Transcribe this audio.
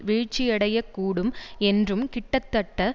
வீழ்ச்சியடையக்கூடும் என்றும் கிட்டத்தட்ட